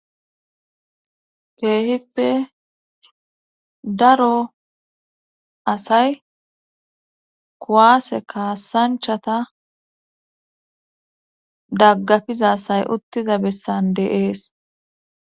keehippe daro asay kuwaase kaasanchata daggafiza asay uttiza bessan dee'es